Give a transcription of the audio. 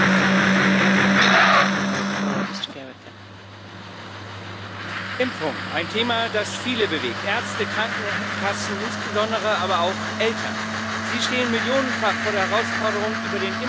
Frau Präsidentin! Impfung ein Thema das viele bewegt Ärzte, Krankenkassen, insbesondere aber auch Eltern. Sie stehen millionenfach vor der Herausforderung, über den Impfkatalog ihrer Kinder zu entscheiden.